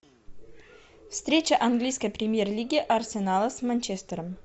встреча английской премьер лиги арсенала с манчестером